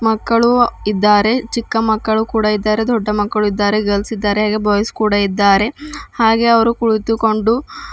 ಮಕ್ಕಳು ಇದ್ದಾರೆ ಚಿಕ್ಕ ಮಕ್ಕಳು ಕೂಡ ಇದ್ದಾರೆ ದೊಡ್ಡ ಮಕ್ಕಳು ಇದ್ದಾರೆ ಗರ್ಲ್ಸ್ ಇದ್ದಾರೆ ಹಾಗೆ ಬಾಯ್ಸ್ ಕೂಡ ಇದ್ದಾರೆ ಹಾಗೆ ಅವರು ಕುಳಿತುಕೊಂಡು --